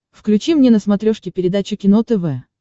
включи мне на смотрешке передачу кино тв